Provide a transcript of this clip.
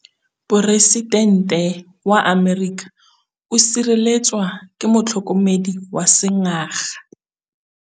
Poresitêntê wa Amerika o sireletswa ke motlhokomedi wa sengaga.